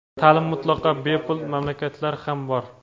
Ta’lim mutlaqo bepul mamlakatlar ham bor.